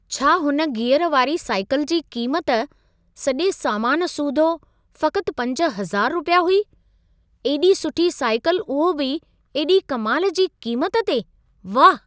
छा हुन गियर वारी साइकिल जी क़ीमत सॼे सामान सूधो, फ़क़्त 5000 रुपया हुई? एॾी सुठी साइकिल उहो बि एॾी कमाल जी क़ीमत ते, वाह!